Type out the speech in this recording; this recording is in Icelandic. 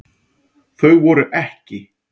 Þau voru EKKI.